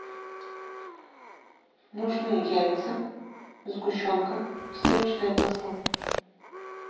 нужны яйца сгущенка сливочное масло